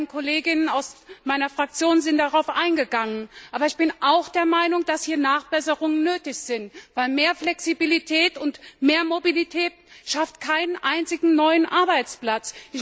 Meine beiden Kolleginnen aus meiner Fraktion sind darauf eingegangen. Aber ich bin auch der Meinung, dass hier Nachbesserungen nötig sind, denn mehr Flexibilität und mehr Mobilität schaffen keinen einzigen neuen Arbeitsplatz.